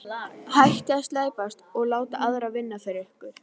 Hættið að slæpast og láta aðra vinna fyrir ykkur.